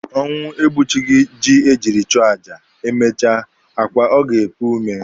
Ọnwụ egbuchighị ji e jiri chọọ aja, emechaa, akwa ọ ga-epu ome?